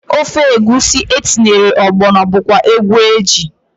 Ofe egwusi etinyere ọgbọnọ bụkwa egwu eji.